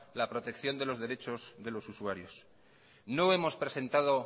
la protección los derechos de los usuarios no hemos presentado